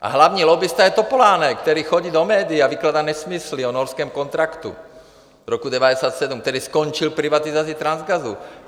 A hlavní lobbista je Topolánek, který chodí do médií a vykládá nesmysly o norském kontraktu z roku 1997, který skončil privatizací Transgasu.